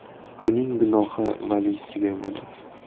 Uning gunohi valiysiga bo‘ladi”.